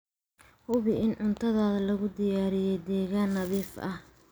Hubi in cuntada lagu diyaariyay deegaan nadiif ah.